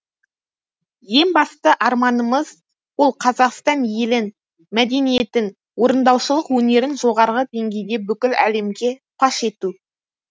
ең басты арманымыз ол қазақстан елін мәдениетін орындаушылық өнерін жоғарғы деңгейде бүкіл әлемге паш ету